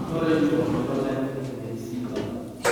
Orange waa miro leh fitamiin C badan.